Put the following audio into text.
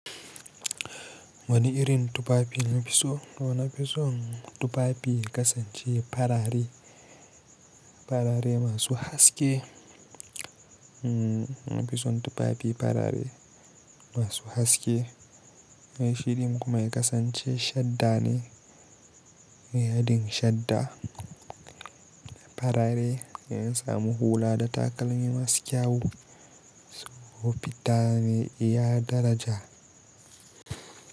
Wani irin tufafi na fi so? To na fi son tufafi ya kasance farare, farare masu haske. Na fi son tufafi farare masu haske. Mai shiri kuma ya kasance shadda ne, yadin shadda farare da ya samu hula da takalmi masu kyau, su hufita ne iya daraja.